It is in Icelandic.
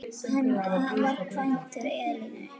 Hann var kvæntur Elínu